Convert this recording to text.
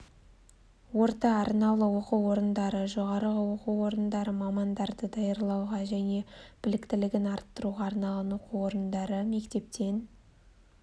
орта арнаулы оқу орындары жоғары оқу орындары мамандарды даярлауға және біліктілігін арттыруға арналған оқу орындары мектептен